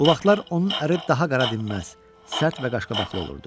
Bu vaxtlar onun əri daha qara dinməz, sərt və qaşqabaqlı olurdu.